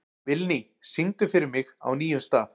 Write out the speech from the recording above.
Vilný, syngdu fyrir mig „Á nýjum stað“.